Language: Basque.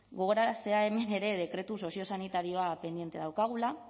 gogoraraztea hemen ere dekretu soziosanitarioa pendiente daukagula